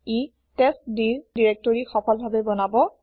ই টেষ্টডিৰ দিৰেক্তৰি সফলভাবে বনাব